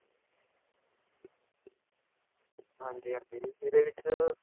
ਹਾਂਜੀ ਹਾਂਜੀ ਇਹਦੇ ਵਿੱਚ